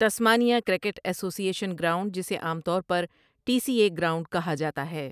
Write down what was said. Tasmania cricket association ground جسے عام طور پر ٹی سی اے گراؤنڈ کہا جاتا ہے ۔